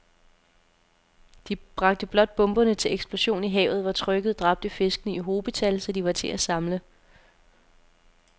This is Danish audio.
De bragte blot bomberne til eksplosion i havet, hvor trykket dræbte fiskene i hobetal, så de var til at samle